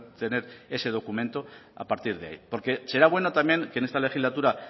tener ese documento a partir de ahí porque será bueno también que en esta legislatura